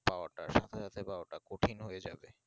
পাওয়াটা সাথে সাথে পাওয়াটা কঠিন হয়ে যাবে